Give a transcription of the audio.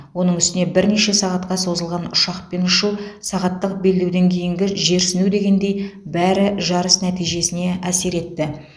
оның үстіне бірнеше сағатқа созылған ұшақпен ұшу сағаттық белдеуден кейінгі жерсіну дегендей бәрі жарыс нәтижесіне әсер етті